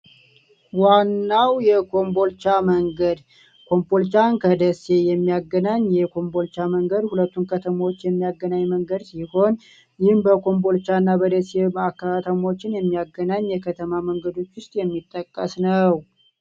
ዋናው ጎንቦልቻ መንገድ ኮምቦልቻን ከደሴ የሚያገናኝ የኮምቦልቻ መንገድ ሁለቱም ከተሞች የሚያገናኝ መንገድ ይሆን የሚያገናኝ የከተማ መንገዶች ውስጥ የሚጠቀስነው